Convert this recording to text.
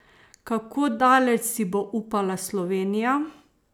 Kako daleč si bo upala Slovenija?